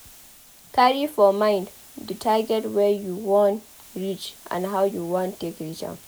Carry for mind the target wey you wan reach and how you wan take reach dem